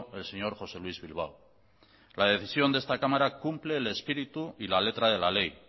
el señor josé luis bilbao la decisión de esta cámara cumple el espíritu y la letra de la ley